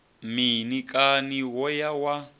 mini kani wo ya wa